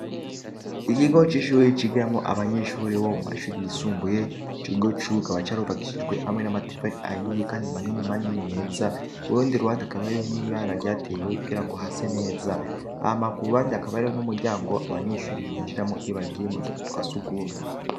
Igigo c'ishuiri ikigiramo abanyeshuri bo mu bashuri yisumbuye ikigo cukaba carubagishijwe hamwe n'amatufari ahiye, kandi manini manini meza urundi ruwandi akabariro n'irara ryatewe kugira ngo hase neza ahamaku uruwandi akabariro n'umuryango abanyenshuri binjiramo ibo bagiye mutuzu twa sugumwe.